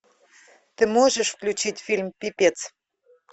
ты можешь включить фильм пипец